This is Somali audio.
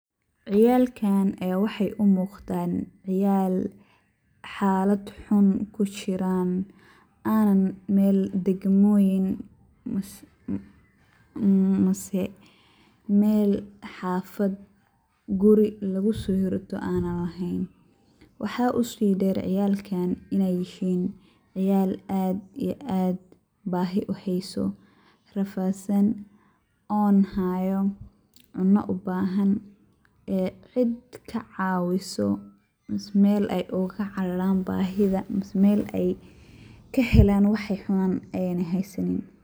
Ciyaalkaan ayaay wax u muuqdaan cyaal haalad xun ku jiraan aanan meel degmooyin mise meel xaafad guri lagu soo xirto aanan leheen. Waxaa u sii dheer ciyaalkaan inay yihiin ciyaal aad ii aad baahi u hayso, rafaadsan, oon haayo, cuno u baahan ee cid ka caawiso mise meel ay ugu cararaan baahida mise meel ay ka helaan wa ay cunaan ayna haysanin.